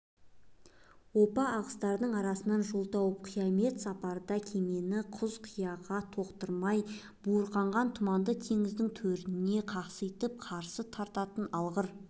оппа ағыстардың арасынан жол тауып қиямет сапарда кемені құз-қияға соқтырмай буырқанған тұманды теңіздің төріне қасқайып қарсы тартатын алғыр